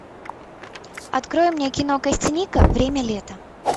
открой мне кино костяника время лета